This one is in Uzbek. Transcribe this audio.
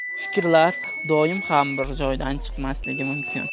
Fikrlar doim ham bir joydan chiqmasligi mumkin.